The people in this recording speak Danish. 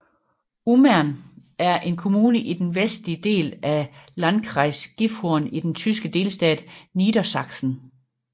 Ummern er en kommune i den vestlige del af Landkreis Gifhorn i den tyske delstat Niedersachsen